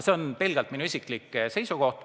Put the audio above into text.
See on pelgalt minu isiklik seisukoht.